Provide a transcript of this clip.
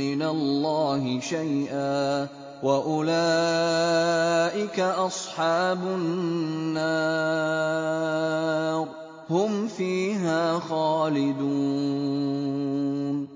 مِّنَ اللَّهِ شَيْئًا ۖ وَأُولَٰئِكَ أَصْحَابُ النَّارِ ۚ هُمْ فِيهَا خَالِدُونَ